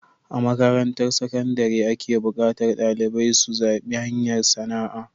A makarantar sakandare ake buƙatar dalibai su zaɓi hanyar sana'a